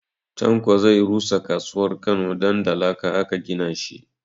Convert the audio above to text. Tanko zai rusa kasuwar Kano don da laka aka gina shi